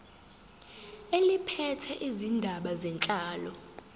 eliphethe izindaba zenhlalo